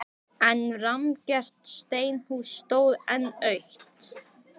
Berlín, Lundúnir og Reykjavík nálguðust tíðindin með mismunandi hætti.